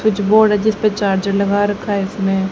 कुछ बोर्ड है जिसपे चार्जर लगा रखा है इसने--